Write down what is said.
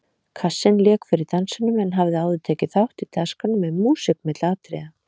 Kassinn lék fyrir dansinum en hafði áður tekið þátt í dagskránni með músík milli atriða.